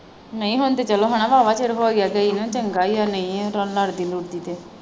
ਨਹੀਂ ਹੁਣ ਤੇ ਚੱਲੋ ਵਾਹਵਾ ਚਿਰ ਹੋ ਗਿਆ ਗਈ ਨੂੰ ਚੰਗਾ ਹੀ ਹੈ ਨਹੀਂ ਲੜਦੀ ਲੁੜਦੀ ਤੇ।